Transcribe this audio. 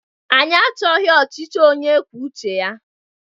Anyị achọghị ọchịchị onye kwuo uche ya!